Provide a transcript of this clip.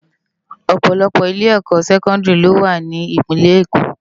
Òpòlòpò ilé èkò sèkòndiri ló wá ni ipinlè Ékó